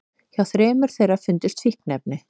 Hjá þremur þeirra fundust fíkniefni